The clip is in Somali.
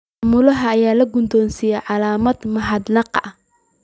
Maamulaha ayaa la guddoonsiiyay calaamad mahadnaq ah.